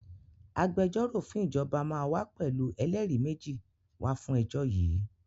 Agbẹjọ́rò fún ìjọba máa wá pẹ̀lú ẹlẹ́rìí méjì wá fún ẹjọ́ yìí